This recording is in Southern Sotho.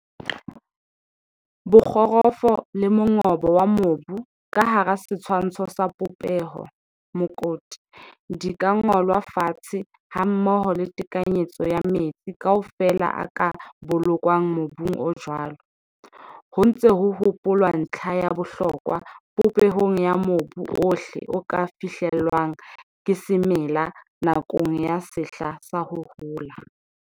Bokgorofo le mongobo wa mobu ka hara setshwantsho sa popeho, mokoti, di ka ngolwa fatshe hammoho le tekanyetso ya metsi kaofela a ka bolokwang mobung o jwalo, ho ntse ho hopolwa ntlha ya bohlokwa popehong ya mobu ohle o ka fihlelwang ke semela nakong ya sehla sa ho hola.